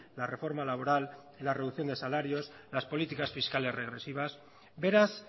la reforma laboral la reducción de salarios las políticas fiscales regresivas beraz